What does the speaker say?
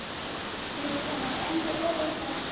dirisa moento o o sa